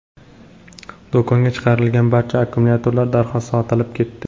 Do‘konga chiqarilgan barcha akkumulyatorlar darhol sotilib ketdi.